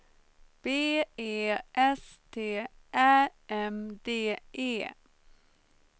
B E S T Ä M D E